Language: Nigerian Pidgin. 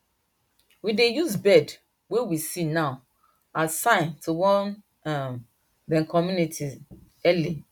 we dey use bird wey we see now as sign to warn um dey community early